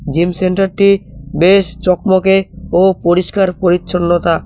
Gym সেন্টারটি বেশ চকমকে ও পরিষ্কার পরিচ্ছন্নতা।